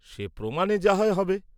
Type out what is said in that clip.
সে প্রমাণে যা হয় হবে।